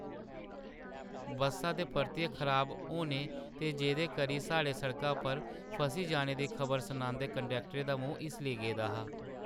बस्सा दे परतियै खराब होने ते जेह्दे करी साढ़े सड़का पर फसी जाने दी खबर सनांदे कंडक्टरै दा मूंह् हिस्सली गेदा हा।